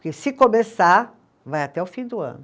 Porque se começar, vai até o fim do ano.